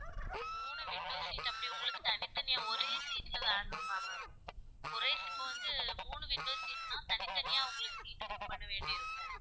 மூணு window seat அப்படி உங்களுக்கு தனித்தனியா ஒரே seat ல வேணும் ma'am ஒரே seat வந்து இப்போ மூணு window seat தான் தனித்தனியா உங்களுக்கு seat book பண்ண வேண்டி இருக்கும்